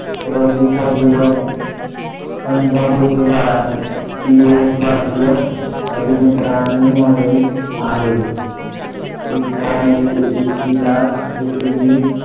रोजी चंदीगड पंजाब येथे झाला. ती एक भारतीय अभिनेत्री आणि model आहे . east इलाट यामध्ये येईल आत येते मी